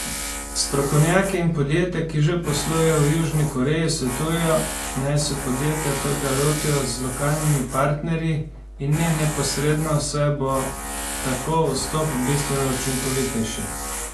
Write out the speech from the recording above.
Strokovnjaki in podjetja, ki že poslujejo v Južni Koreji, svetujejo, naj se podjetja trga lotijo z lokalnimi partnerji, in ne neposredno, saj bo tako vstop bistveno učinkovitejši.